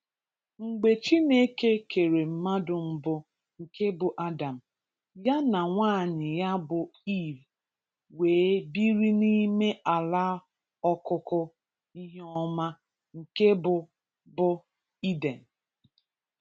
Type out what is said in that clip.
Mgbe Chineke kere mmadụ mbụ nke bụ Adam, ya na nwaanyị ya bụ Eve wee biri n'ime ala ọkụkụ ihe ọma nke bụ bụ Eden.